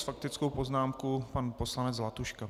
S faktickou poznámkou pan poslanec Zlatuška.